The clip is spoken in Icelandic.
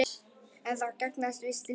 En það gagnast víst lítið.